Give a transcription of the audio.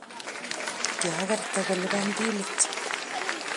kiakerte kulipan bilit.